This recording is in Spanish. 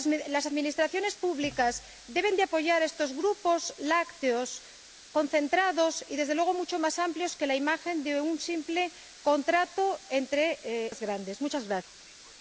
Las administraciones públicas deben apoyar a estos grupos lácteos, concentrados y, desde luego, mucho más amplios que la imagen de un simple contrato entre grandes empresas.